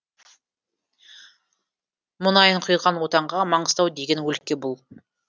мұнайын құйған отанға маңғыстау деген өлке бұл